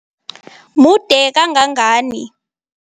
Mude kangangani?